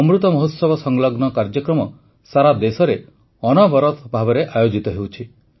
ଅମୃତ ମହୋତ୍ସବ ସଂଲଗ୍ନ କାର୍ଯ୍ୟକ୍ରମ ସାରା ଦେଶରେ ଅନବରତ ଭାବେ ଆୟୋଜିତ ହେଉଛି